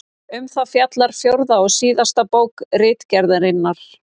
Um það fjallar fjórða og síðasta bók Ritgerðarinnar.